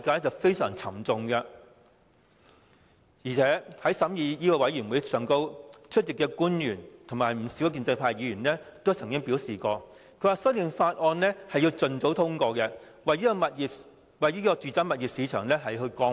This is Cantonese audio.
在審議《條例草案》的法案委員會會議上，出席的官員和不少建制派議員都曾經表示，《條例草案》要盡早通過，為住宅物業市場降溫。